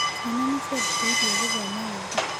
Ciana nĩ ciambĩrĩirie gũthoma rĩngĩ.